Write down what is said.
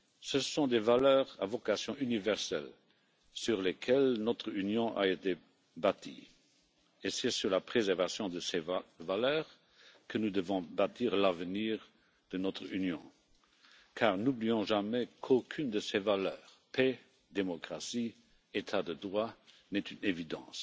Ce sont des valeurs à vocation universelle sur lesquelles notre Union a été bâtie et c'est sur la préservation de ces valeurs que nous devons bâtir l'avenir de notre Union, car n'oublions jamais qu'aucune de ces valeurs, paix, démocratie, état de droit n'est une évidence.